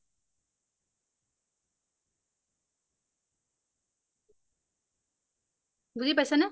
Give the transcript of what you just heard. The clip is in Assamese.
বুজি পাইছা নে?